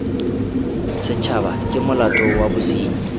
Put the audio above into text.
setshaba ke molato wa bosenyi